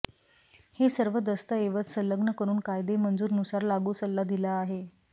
हे सर्व दस्तऐवज संलग्न करून कायदे मंजूर नुसार लागू सल्ला दिला आहे